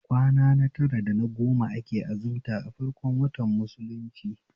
Kwana na tara da na goma ake azimta a farkon watan musulunci